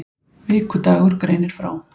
Vikudagur greinir frá